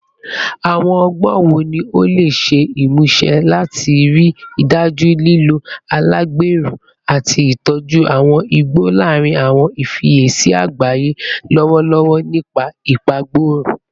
Awọn ọgbọn wo ni o le ṣe imuse lati rii daju lilo alagbero ati itoju awọn igbo larin awọn ifiyesi agbaye lọwọlọwọ nipa ipagborun?